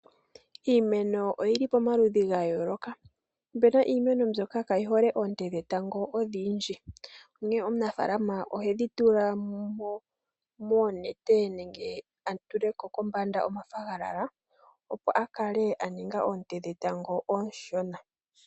Iimeno oyili pamaludhi gayooloka, opuna iimeno mbyoka kaayihole oonte dhetango odhindji, onkene omunafaalama ohedhi tula moonete nenge a tule ko kombanda omathagalala, opo a kale a ninga oonte dhetango ooshona.